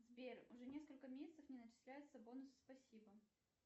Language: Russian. сбер уже несколько месяцев не начисляются бонусы спасибо